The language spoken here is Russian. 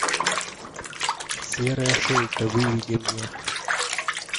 серая шейка выведи мне